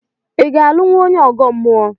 I ga-alụnwu onye ọgọ mmụọ?